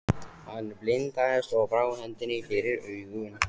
Hann blindaðist og brá hendinni fyrir augun.